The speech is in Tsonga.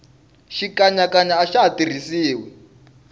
xikanyakanya axa ha tirhisiwi